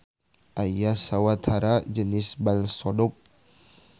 Aya sawatara jenis bal sodok